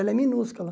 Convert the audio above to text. Ela é minúscula.